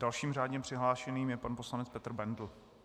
Dalším řádně přihlášeným je pan poslanec Petr Bendl.